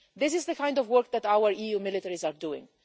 This is the kind of work that our EU militaries are doing.